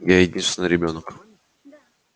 я единственный ребёнок